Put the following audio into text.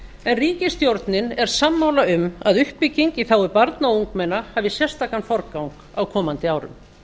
en ríkisstjórnin er sammála um að uppbygging í þágu barna og ungmenna hafi sérstakan forgang á komandi árum